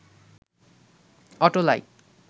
auto like